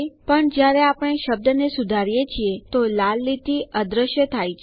પણ જયારે આપણે શબ્દને સુધારીએ છીએ તો લાલ લીટી અદૃશ્ય થાય છે